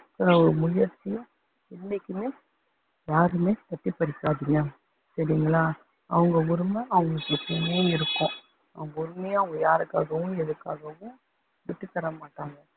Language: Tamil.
முயற்சியும் என்னைக்குமே யாருமே தட்டி பறிச்சுடாதீங்க சரிங்களா அவங்க உரிமை அவங்களுக்கு மட்டுமே இருக்கும் அவங்க உரிமையை அவங்க யாருக்காகவும் எதுக்காகவும் விட்டுத்தர மாட்டாங்க